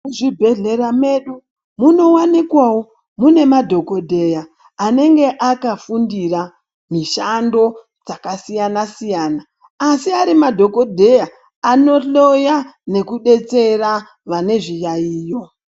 Muzvibhehlera medu munowanikwawo mune madhokodheya anenge akafundira mishando dzakasiyana siyana asi ari madhokodheya anohloya nekubetsera vane zviyayiyo.